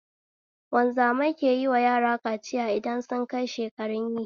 Wanzamai keyiwa yara kaciya idan sunkai shekarun yi